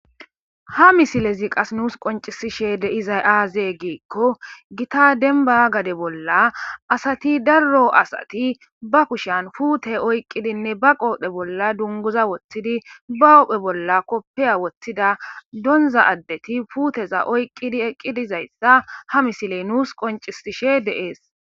ha misilezi qas nuus qoncisishe deizay aazee giikko gita denba gade bolla asati darro asati ba kushan fuute oyqqidinne ba qoodhe bolla dunguza woththidi ba ohphe bolla koppeya woththida donza addeti puuteza oyqqidi eqqidizayssa ha misiley nuus qoncisishe deees